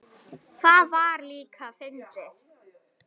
Það var líka fyndið.